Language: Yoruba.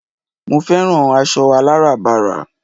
mo fẹ́ràn aṣọ aláràbarà